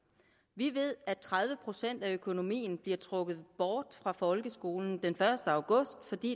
vi ved at tredive procent af økonomien bliver trukket bort fra folkeskolen den første august fordi